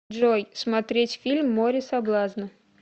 джой смотреть фильм море соблазна